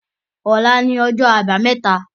Ọlá ni ọjọ́ àbámẹ́ta